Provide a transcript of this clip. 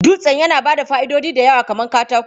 Dutsen yana ba da fa'idodi da yawa kamar katako.